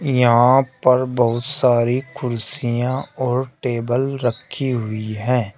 यहां पर बहुत सारी कुर्सियां और टेबल रखी हुई है।